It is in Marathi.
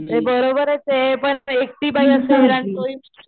ते हि बरोबरचे पण एकटी बाई असल्यावर आणि तो हि मुलगा